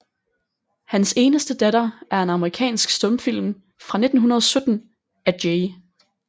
Hans eneste datter er en amerikansk stumfilm fra 1917 af J